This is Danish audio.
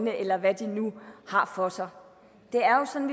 eller hvad de nu har for sig det er jo sådan